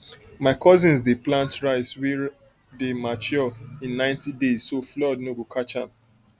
my cousins dey plant rice wey rice wey dey mature in ninety days so um flood no go catch am